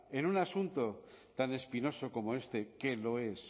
en un asunto tan espinoso como este que lo es